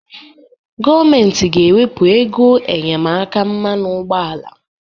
Gọọmentị ga-ewepụ ego enyemaka mmanụ ụgbọala.